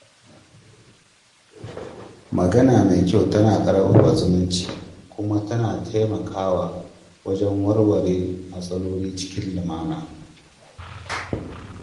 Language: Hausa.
Magana mai kyau tana ƙarfafa zumunci kuma tana taimakawa wajen warware matsaloli cikin lumana.